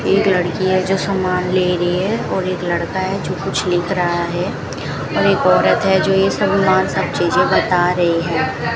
एक लड़की है जो सामान ले रही है और एक लड़का है जो कुछ लिख रहा है और एक औरत है जो ये सब मार सब चीजे बता रही हैं।